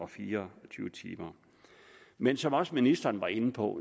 fire og tyve timer men som også ministeren var inde på